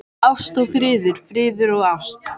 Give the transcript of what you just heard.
Ást og friður, friður og ást.